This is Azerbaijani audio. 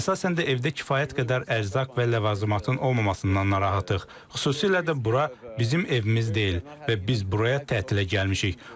Əsasən də evdə kifayət qədər ərzaq və ləvazimatın olmamasından narahatıq, xüsusilə də bura bizim evimiz deyil və biz buraya tətilə gəlmişik.